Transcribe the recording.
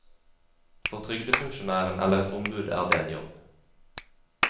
For trygdefunksjonæren eller et ombud er det en jobb.